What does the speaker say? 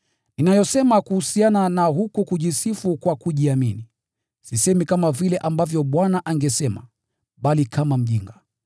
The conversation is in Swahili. Ninayosema kuhusiana na huku kujisifu kwa kujiamini, sisemi kama vile ambavyo Bwana angesema, bali kama mjinga.